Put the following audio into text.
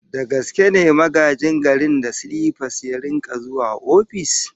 Da gaske ne Magajin Garin da silipas ya rika zuwa ofis?